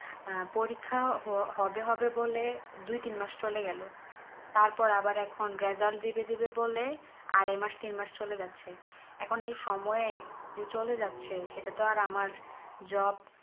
পরীক্ষা হবে হবে বলে দুই তিন মাস চলে গেলো তারপর আবার এখন result দিবে দিবে বলে আড়াই মাস তিন মাস চলে যাচ্ছে এখোনা এই সময়ে চলে যাচ্ছে সেটা তো আর আমার job